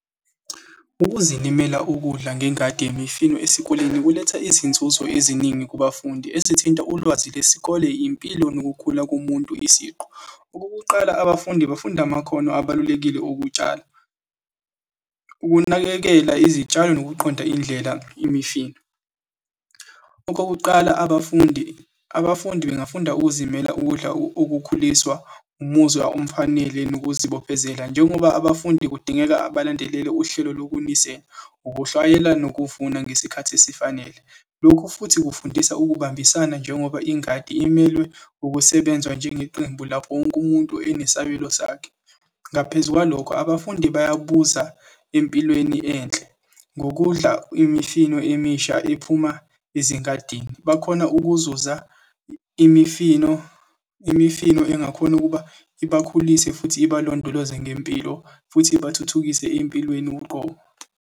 Ukuzilimela ukudla ngengadi yemifino esikoleni kuletha izinzuzo eziningi kubafundi, ezithinta ulwazi lwesikole, impilo nokukhula komuntu isiqu. Okokuqala, abafundi bafunda amakhono abalulekile okutshala, ukunakekela izitshalo nokuqonda indlela yemifino. Okokuqala, abafundi, abafundi bengafunda ukuzimela ukudla okukhuliswa umuzwa omfanele nokuzibophezela, njengoba abafundi kudingeka balandelele uhlelo lokunisela, ukuhlawayela nokuvuna ngesikhathi esifanele. Lokhu futhi kufundisa ukubambisana njengoba ingadi imelwe ukusebenzwa njengeqembu, lapho wonke umuntu esabelo sakhe. Ngaphezu kwalokho abafundi bayabuza empilweni enhle ngokudla imifino emisha ephuma ezingadini, bakhona ukuzuza imifino, imifino engakhona ukuba ibakhulise, futhi ibalondoloze ngempilo futhi ibathuthukise empilweni uqobo.